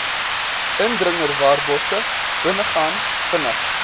indringerwarbosse binnegaan vinnig